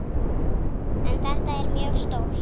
En þetta er mjög stórt.